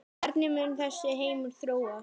Hvernig mun þessi heimur þróast?